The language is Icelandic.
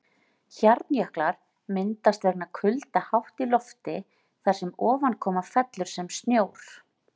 Hjarnjöklar myndast vegna kulda hátt í lofti þar sem ofankoma fellur sem snjór.